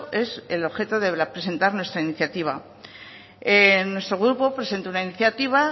es el objeto de presentar nuestra iniciativa nuestro grupo presentó una iniciativa